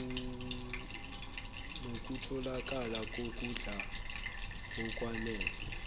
nokutholakala kokudla okwanele